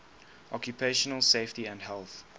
occupational safety and health